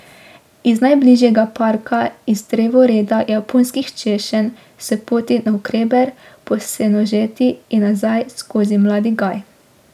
Iz najbližjega parka, iz drevoreda japonskih češenj, s poti navkreber po senožeti in nazaj skozi mladi gaj ...